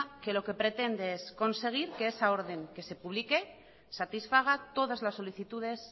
que lo que pretende es que esa orden que se publique satisfaga todas las solicitudes